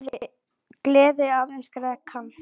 Gleði aðeins greiða kann.